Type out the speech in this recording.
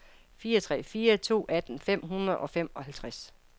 fire tre fire to atten fem hundrede og femoghalvtreds